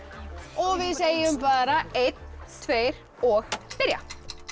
og við segjum bara einn tveir og byrja